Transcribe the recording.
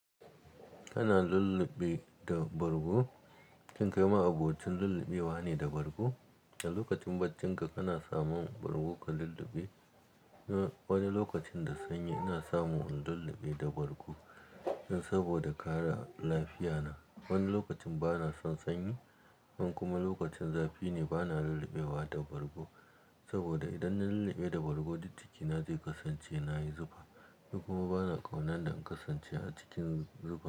Kana lulluɓe da bargo? Kin kai ma abokincin lulluɓewa ne da bargo? A lokacin bacinka kana samun bargo ka lulluɓe? Ni wani lokacin da sanyi ina samu lulluɓe da bargo saboda kare lafiyana. Wani lokacin bana son sanyi, in kuma lokacin zafi ne bana lulluɓewa da bargo. Saboda idan na lulluɓe da bargo, duk jkina zai kasance na yi zufa. Ni kuma bana ƙauna dan in kasance a cikin zufa.